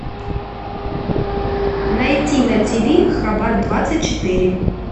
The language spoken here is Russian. найти на тиви хабар двадцать четыре